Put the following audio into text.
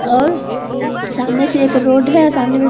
और सामने से एक रोड है सामने --